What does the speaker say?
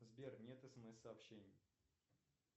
сбер нет смс сообщений